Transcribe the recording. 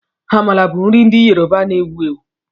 Amala bụ nri ndị Yoruba na-ewu ewu